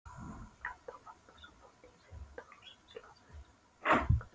Ottó Magnússon, bóndi í Sigmundarhúsum, slasaðist en Eiríkur